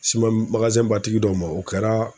ba tigi dɔw ma o kɛra